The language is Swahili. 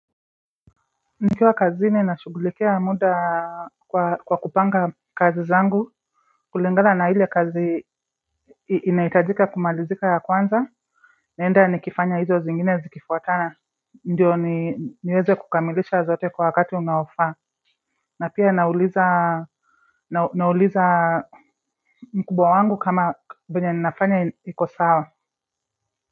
Nikiwa kazini nashughulikia muda kwa kupanga kazi zangu kulingana na ile kazi inahitajika kumalizika ya kwanza. Naenda nikifanya hizo zingine zikifuatana. Ndiyo niweze kukamilisha zote kwa wakati unaofaa. Na pia nauliza nauliza mkubwa wangu kama venye ninafanya iko sawa.